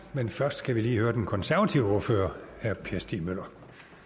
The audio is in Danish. men først skal vi lige høre den konservative ordfører herre per stig møller